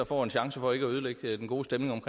får en chance for ikke ødelægge den gode stemning